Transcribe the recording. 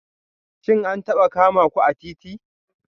Shin an taba kama ku a titi?